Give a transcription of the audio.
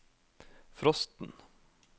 frosten